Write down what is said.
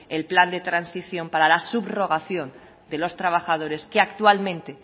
el plan de transacción para la subrogación de los trabajadores que actualmente